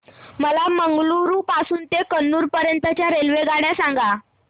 मला मंगळुरू पासून तर कन्नूर पर्यंतच्या रेल्वेगाड्या सांगा